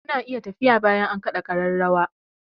Ku na iya tafiya bayan an kaɗa ƙararrawa!